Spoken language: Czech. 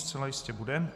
Zcela jistě bude.